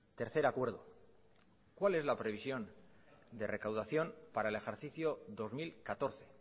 tercer acuerdo cuál es la previsión de recaudación para el ejercicio dos mil catorce